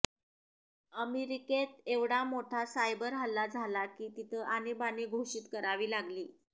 अमेरिकेत एवढा मोठा सायबर हल्ला झाला की तिथं आणीबाणी घोषीत करावी लागली